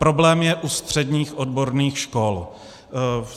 Problém je u středních odborných škol.